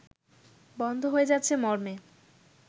বন্ধ হয়ে যাচ্ছে মর্মে